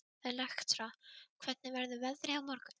Elektra, hvernig verður veðrið á morgun?